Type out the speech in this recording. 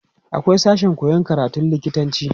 akwai sashen koyan karatun lokitanci